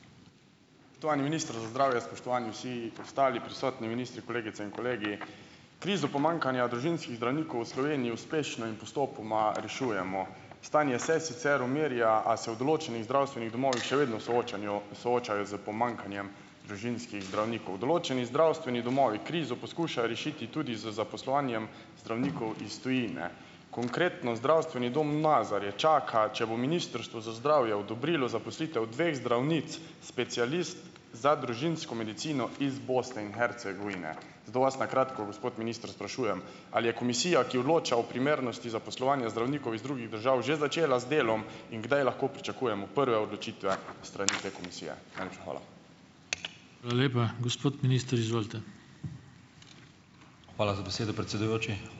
minister za zdravje, spoštovani vsi ostali prisotni, ministri, kolegice in kolegi! Krizo pomanjkanja družinskih zdravnikov v Sloveniji uspešno in postopoma rešujemo. Stanje se sicer umirja, a se v določenih zdravstvenih domovih še vedno soočajo s pomanjkanjem družinskih zdravnikov. Določeni zdravstveni domovi krizo poskušajo rešiti tudi z zaposlovanjem zdravnikov iz tujine. Konkretno zdravstveni dom Nazarje čaka, če bo ministrstvo za zdravje odobrilo zaposlitev dveh zdravnic, specialistk za družinsko medicino iz Bosne in Hercegovine. Zato vas na kratko, gospod minister, sprašujem: Ali je komisija, ki odloča o primernosti zaposlovanja zdravnikov iz drugih držav, že začela z delom? In, kdaj lahko pričakujemo prve odločitve s strani te komisije? Najlepša hvala.